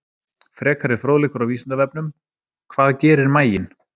Frekari fróðleikur á Vísindavefnum: Hvað gerir maginn?